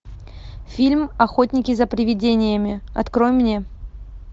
фильм охотники за привидениями открой мне